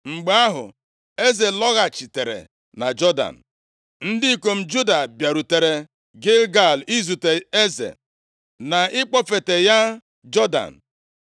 Mgbe ahụ, eze lọghachitere na Jọdan. Ndị ikom Juda bịarutere Gilgal izute eze, na ịkpọfeta ya Jọdan.